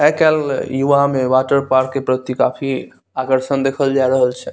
आजकल युवा में वाटर पार्क के प्रति काफ़ी आकर्षण देखल जा रहल छे।